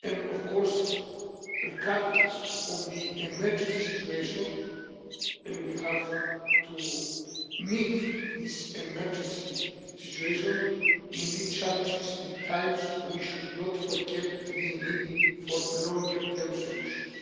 Of course, regardless of the emergency situation and we have to meet this emergency situation in these challenging times we should not forget the need for longer term solutions.